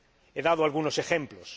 He dado algunos ejemplos.